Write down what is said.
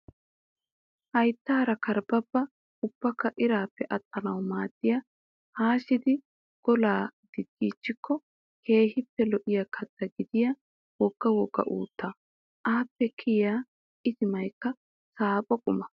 Hayttaara kerbebba ubakka irappe attanaw maadiyaa haashidi golaa diggiichchikko keehippe lo'iyaa katta gidiyaa wogga wogga uuttaa. Appe kiyiyaa itimayikka saapho qumaa.